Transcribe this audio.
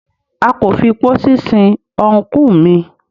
A kò fi pósí sin ọ́nkù mi.